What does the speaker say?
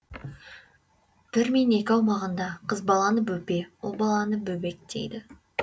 бір мен екі аумағында қыз баланы бөпе ұл баланы бөбек дейді